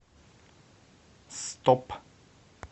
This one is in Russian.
стоп